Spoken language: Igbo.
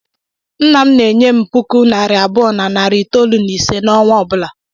Nna m na-enye m puku naịra abụọ na narị itoolu na ise n'ọnwa ọ bụla.